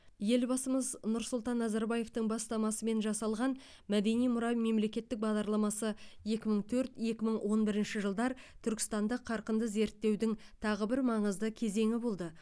елбасымыз нұрсұлтан назарбаевтың бастамасымен жасалған мәдени мұра мемлекеттік бағдарламасы екі мың төрт екі мың он бірінші жылдар түркістанды қарқынды зерттеудің тағы бір маңызды кезеңі болды